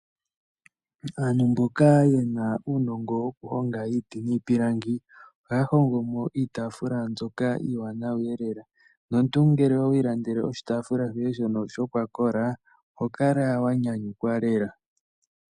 Aantu mboka yana uunongo woku honga iiti niipilangi ohaya hongomo iitafula mbyoka iiwanawa lela, nomumtu ngele owi ilandela oshitafula shoye shono shokwa kola oho kala wa nyanyukwa lela.